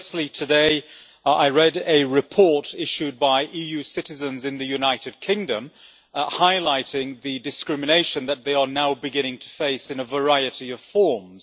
Firstly, today I read a report issued by EU citizens in the United Kingdom, highlighting the discrimination that they are now beginning to face in a variety of forms.